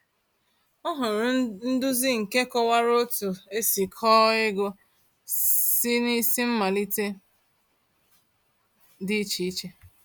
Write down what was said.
O hụrụ nduzi nke kọwara otu esi kọọ ego si n’isi mmalite dị iche iche.